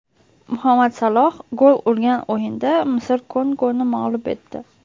Muhammad Saloh gol urgan o‘yinda Misr Kongoni mag‘lub etdi .